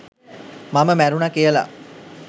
මම මැරුණා කියලා